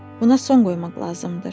Buna son qoymaq lazımdır.